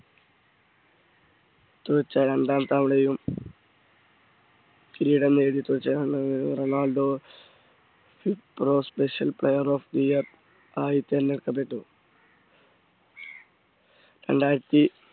ടത്തു വെച്ച രണ്ടാം തവണയും കിരീടം നേടി Ronaldo special player of the year ആയി തെരഞ്ഞെടുക്കപ്പെട്ടു രണ്ടായിരത്തി